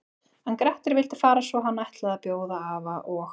En Grettir vildi fara svo hann ætlaði að bjóða afa og